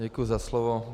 Děkuji za slovo.